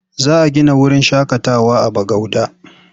Za a gina wurin shaƙatawa a Bagauda.